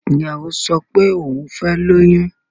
Ìyàwó ń sọ pé òhun fẹ́ lóyún.